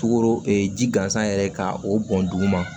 Tukoro ji gansan yɛrɛ ka o bɔn duguma